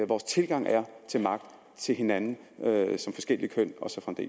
vores tilgang er til magt til hinanden som forskelligt køn